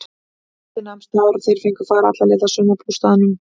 Bíllinn nam staðar og þeir fengu far alla leið að sumarbústaðnum.